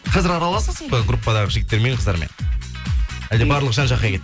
қазір араласасың ба группадағы жігіттермен қыздармен әлде барлығы жан жаққа кетті